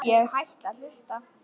Ég hætti að hlusta.